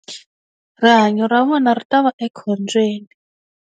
Rihanyo ra vona ri ta va ekhombyeni.